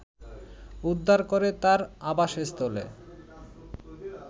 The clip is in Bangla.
উদ্ধার করে তার আবাসস্থলে